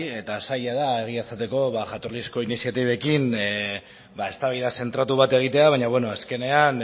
eta saila da egia esateko jatorrizko iniziatibekin eztabaida zentratu bat egitea baina beno azkenean